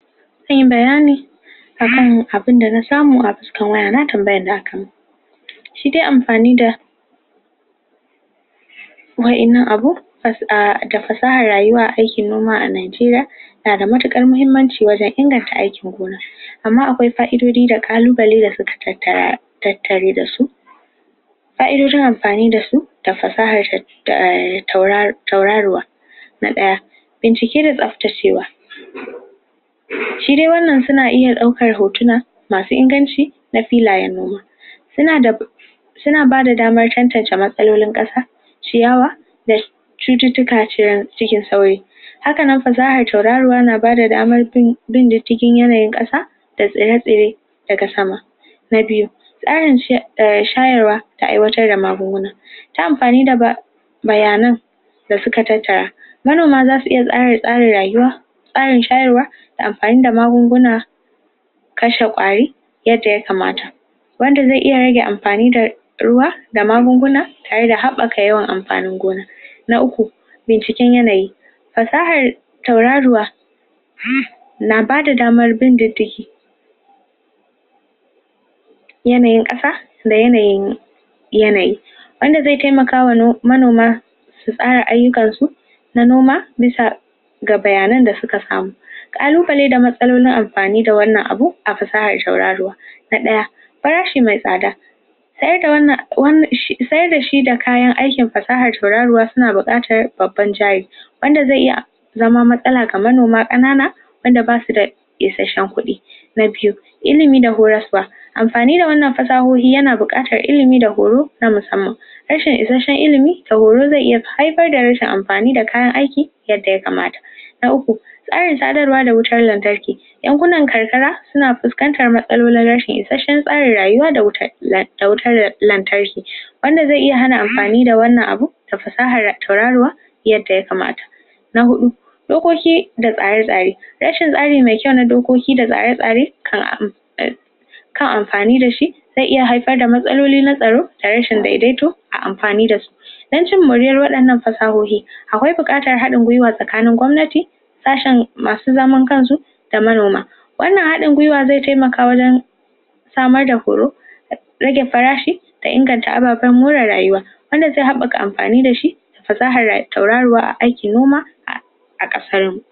Zan yi bayani akan abun da na samu a cikin waya, na tambayan da aka mun shi de amfani da wadannan abu, da fasahan rayuwa a noma a Najeriya, na da matukar muhimmanci wajen inganta aikin gona, amma akwai ka'idodi da Kallubalai da suka tattare da su ka'idodin amfani da su da fasahan tauraruwa. Na daya, bincike da tsabtacewa shi de wannan suna iya daukar hotuna, masu inganci na filayen noma suna da suna ba da daman chachanta matsalolin kasa ciyawa da cuttutuka hakanan fasahan tauraruwa na ba da daman bi ta yanayin kasa, da tsire-tsire daga sama. Na biyu, tsarin shayarwa ta aiwatar da magunguna ta amfani da bayanan da suka tattara, Manoma za su iya tsare-tsare rayuwa karin shayarwa da amfani da magunguna kashe kwari yadda ya kamata wanda ze iya rage amfani da ruwa da magunguna tare da habbaka yawan amfanin gona Na uku, binciken yanayi, fasahar tauraruwa, na ba da damar bin yanayin kasa, da yanayin yanayi. wanda ze taimaka wa manoma su tsara ayukan su na noma, bisa ga bayanan da suka samu. Kallubalai da matsalolin amfani da wannan abu a fasahan Na daya, farashi me tsada sayar da shi da kayan aikin fasaha, sauraruwa suna bukatan babban wanda ze iya zaman matsala ma manoma, kanana wanda basu da isasshen kudi Na biyu, illimi da horaswa amfani da wannan fasahohi yana bukatan illimi da horo sama-sama illimi ze iya haifar da rashin amfani da kayan aiki, wadda ya kamata Na uku, tsarin sadarwa da wutar lantarki Yankunan karkara, suna fuscantan matsaloli, rashin isassen tsarin rayuwa da wutar lantarki. wanda ze iya hana amfani da wannan abu ta fasahar tauraruwa yadda ya kamata. Na hudu, dokoki da tsare-tsare, rashin me kyau na dokoki na tsare-tsare, kan kan amfani da shi ta iya haifar da matsaloli na tsarau da rashin daidaito a amfani da wadannan fasahohi, akwai bukatan hadin gwiwa tsakanin gwamnati sasshen masu zaman kan su da manoma. Wannan hadin gwiwa ze taimaka wajen samar da horo, rage farashi ta inganta abbaban more rayuwa wadda ze habbaka amfani da shi fasahan tauraruwa a aikin noma,